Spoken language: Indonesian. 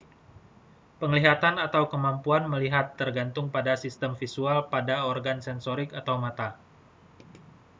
penglihatan atau kemampuan melihat tergantung pada sistem visual pada organ sensorik atau mata